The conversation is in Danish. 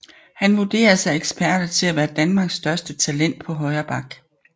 Han vurderes af eksperter til at være Danmarks største talent på højre back